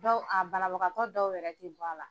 Dɔw a banabagatɔ dɔw yɛrɛ tɛ bɔ a la.